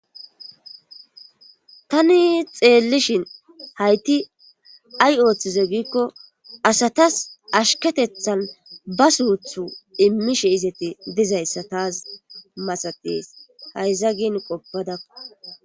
Tani xeellishin hayti ay ooththize giikko asatas ashketethan ba suuthu immishe izqoppadakko.sa taas masates hayza gin qoppadakko